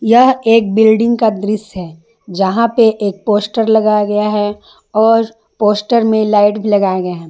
यह एक बिल्डिंग का दृश्य है जहां पे एक पोस्टर लगाया गया है और पोस्टर में लाइट भी लगाए गए हैं।